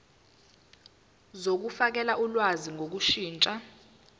zokufakela ulwazi ngokushintsha